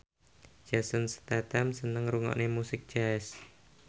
Jason Statham seneng ngrungokne musik jazz